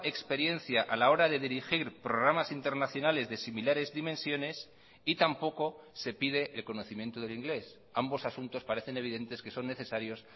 experiencia a la hora de dirigir programas internacionales de similares dimensiones y tampoco se pide el conocimiento del inglés ambos asuntos parecen evidentes que son necesarios